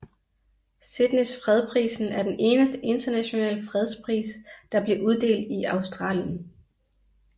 Sydneys fredsprisen er den eneste internationale fredspris der bliver uddelt i Australien